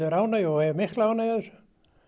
ánægju og hef mikla ánægju af þessu